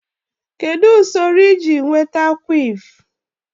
Kedu usoro iji nweta quiff?